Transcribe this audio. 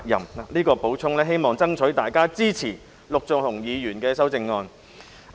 我作出這點補充，希望爭取到大家支持陸頌雄議員的修正案。